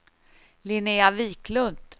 Linnea Wiklund